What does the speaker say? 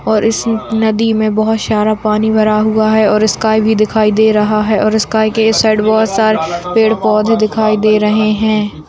और इस नदी में बहुत सारा पानी भरा हुआ है और स्काई इसका भी दिखाई दे रहा है और स्काई के इस साइड बहुत सारे पेड़-पौधे दिखाई दे रहे है।